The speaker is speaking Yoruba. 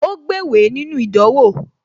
Ó gbéwèé nínú ìdánwò